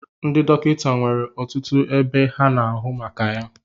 Ndị dọkịta nwere ọtụtụ ebe ha na-ahụ maka ya